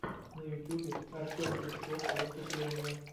на ютюбе артем пучков выступление